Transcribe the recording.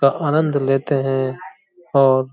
का आनंद लेते है। और --